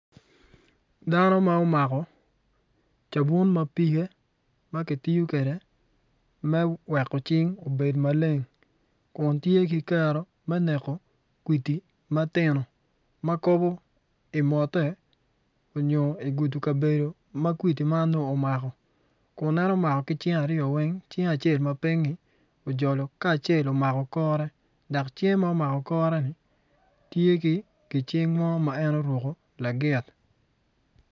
Dano ma omako cabun ma pige ma kitiyo kwede me weko cing obedo maleng kun tye ki kero me neko kwidi matino makobo imote onyo igudu kabedo ma kwidi man omako kun eno mako ki cinge aryo weng cinge acel mapinyi ojol ka acel omako kore dok cinge mumako koreni tyeki gicing mo ma en oruko lagit